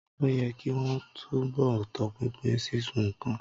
Ó yẹ kì wọn ó túnbọ̀ tọpinpin sísun nǹkan.